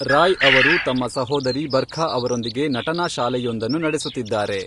ರಾಯ್ ಅವರು ತಮ್ಮ ಸಹೋದರಿ ಬರ್ಖಾ ಅವರೊಂದಿಗೆ ನಟನಾ ಶಾಲೆಯೊಂದನ್ನು ನಡೆಸುತ್ತಿದ್ದಾರೆ.